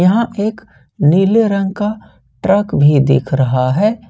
यहां पे एक नीले रंग का ट्रक भी दिख रहा है।